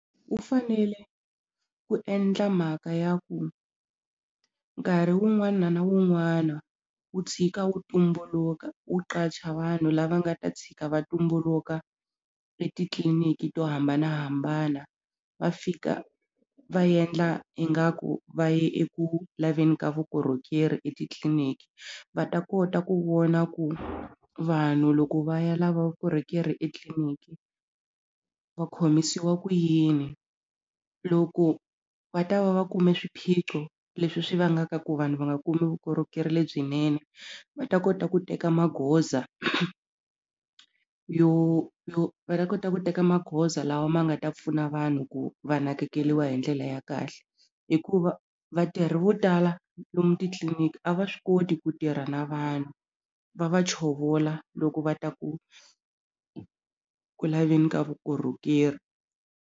Wu fanele ku endla mhaka ya ku nkarhi wun'wana na wun'wana wu tshika wu tumbuluka wu qacha vanhu lava nga ta tshika va tumbuluka etitliliniki to hambanahambana va fika va yendla ingaku va ya eku laveni ka vukorhokeri etitliliniki va ta kota ku vona ku vanhu loko va ya lava vukorhokeri etliliniki va khomisiwa ku yini loko va ta va va kume swiphiqo leswi swi vangaka ku vanhu va nga kumi vukorhokeri lebyinene va ta kota ku teka magoza yo yo va ta kota ku teka magoza lawa ma nga ta pfuna vanhu ku va nakekeriwa hi ndlela ya kahle hikuva vatirhi vo tala lomu titliliniki a va swi koti ku tirha na vanhu va va chovola loko va ta ku ku laveni ka vukorhokeri.